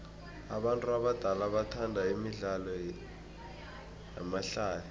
abantu abadala bathanda imidlalo yamahlaya